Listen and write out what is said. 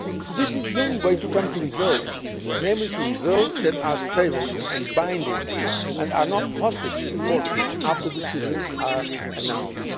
This is the only way to achieve results, to results that are stable and binding and are not hostages to fortune after decisions are announced.